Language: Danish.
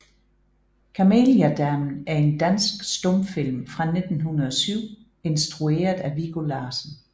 Kameliadamen er en dansk stumfilm fra 1907 instrueret af Viggo Larsen